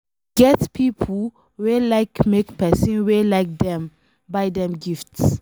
E get pipo wey like make pesin wey like dem buy dem gifts